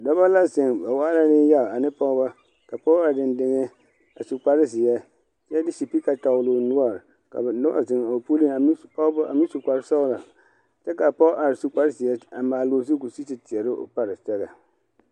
Dɔbɔ la zeŋ ba waa la Neŋyaga ane pɔgeba ka a pɔge are dɛndɛŋɛ a su kpare zeɛ kyɛ de de sipiika tɔgle o noɔre ka ba mine wa zeŋ o pulliŋ a meŋ su kpare sɔglo kyɛ ka a pɔge su kpare zeɛ a maale o zu k'o sigi te teɛrɛ o paresɛgɛ.